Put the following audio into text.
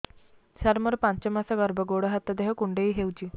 ସାର ମୋର ପାଞ୍ଚ ମାସ ଗର୍ଭ ଗୋଡ ହାତ ଦେହ କୁଣ୍ଡେଇ ହେଉଛି